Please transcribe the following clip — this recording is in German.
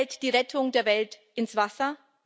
Fällt die Rettung der Welt ins Wasser?